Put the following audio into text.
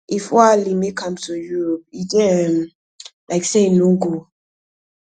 if oualy make am to europe e dey um likely say e no go